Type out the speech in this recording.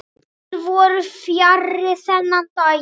Þeir voru fjarri þennan daginn.